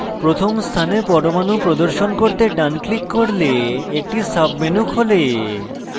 প্রথম স্থানে পরমাণু প্রদর্শন করতে ডান click করলে একটি সাবমেনু খোলে